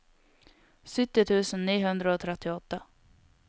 sytti tusen ni hundre og trettiåtte